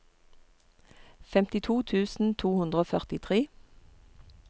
femtito tusen to hundre og førtitre